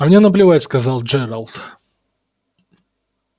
а мне наплевать сказал джералд